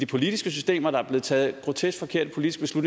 politiske system og der er blevet taget grotesk forkerte politiske